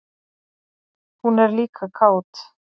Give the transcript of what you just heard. Hún er líka kát.